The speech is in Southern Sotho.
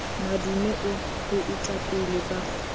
madume ho boetapele ba mokga